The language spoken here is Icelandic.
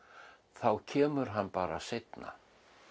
þá kemur hann bara seinna